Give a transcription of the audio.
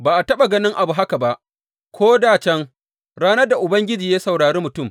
Ba a taɓa ganin abu haka ba ko dā can, ranar da Ubangiji ya saurari mutum.